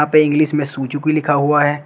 पे इंग्लिश में सुजुकी लिखा हुआ है।